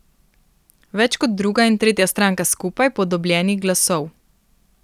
Več kot druga in tretja stranka skupaj po dobljenih glasov.